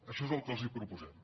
això és el que els proposem